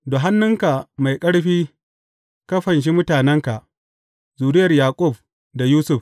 Da hannunka mai ƙarfi ka fanshi mutanenka, zuriyar Yaƙub da Yusuf.